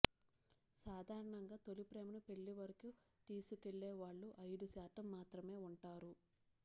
సాధారణంగా తొలిప్రేమని పెళ్ళి వరకు తీసుకెళ్లే వాళ్ళు ఐదు శాతం మాత్రమే ఉంటారు